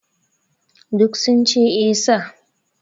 Duk sun ce 'Eh sir'